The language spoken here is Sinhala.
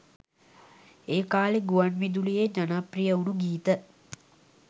ඒ කාලයේ ගුවන් විදුලියේ ජනප්‍රිය වුණ ගීත.